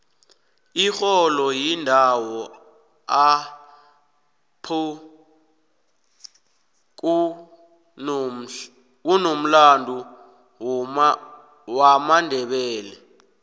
ixholo yindowo apho kunomlandu womandebele